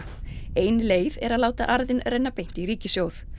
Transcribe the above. ein leið er láta arðinn renna beint í ríkissjóð